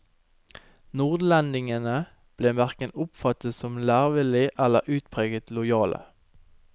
Nordlendingene ble verken oppfattet som lærevillige eller utpreget lojale.